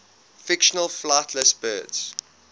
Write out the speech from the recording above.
fictional flightless birds